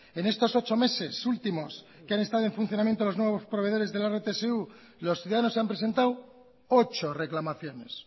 en estos ocho meses últimos que han estado en funcionamiento los nuevos proveedores de la rtsu los ciudadanos han presentado ocho reclamaciones